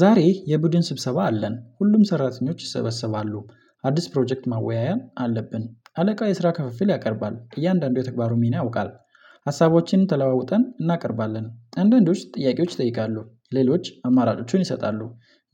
ዛሬ የቡድን ስብሰባ አለን ሁሉም ሰራተኞች ይሰበሰባሉ አዲስ ፕሮጀክት መወያያም አለብን አለቃ የስራ ክፍፍል ያቀርባል እያንዳንዱ የተግባሩን ሚና ያውቃል። ሀሳቦችን ተለዋውጠን እናቀርባለን እንደንዶች ጥያቄዎች ይጠይቃሉ ሌሎች አማራጮቹን ይሰጣሉ